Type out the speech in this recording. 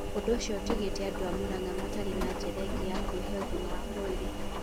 Ũndũ ũcio ũtigĩtĩ andũ a mũrang'a matarĩ na njĩra ĩngĩ ya kwĩhĩ ũgima wa mwĩrĩ